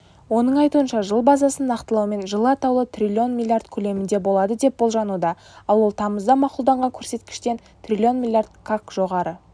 оның айтуынша жыл базасын нақтылаумен жылы атаулы трлн млрд көлемінде болады деп болжануда ал ол тамызда мақұлданған көрсеткіштен трлн млрд-қак жоғары